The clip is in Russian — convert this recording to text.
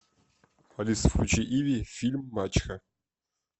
алиса включи иви фильм мачеха